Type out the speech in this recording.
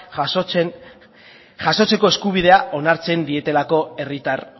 jasotzeko eskubidea onartzen dietelako herritar